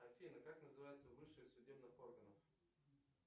афина как называется высшее судебных органов